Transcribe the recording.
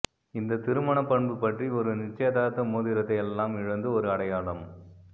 இந்த திருமண பண்பு பற்றி ஒரு நிச்சயதார்த்த மோதிரத்தை எல்லாம் இழந்து ஒரு அடையாளம்